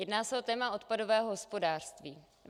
Jedná se o téma odpadového hospodářství.